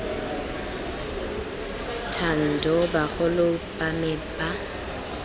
thando bagolo ba me ba